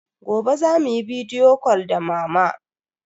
Gobe za mu yi bidiyo cal da mama.